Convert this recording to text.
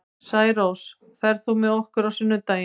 Særós, ferð þú með okkur á sunnudaginn?